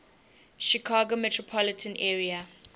chicago metropolitan area